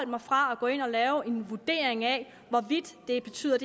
mig fra at gå ind og lave en vurdering af hvorvidt det betyder